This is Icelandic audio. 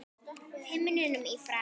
himnum í frá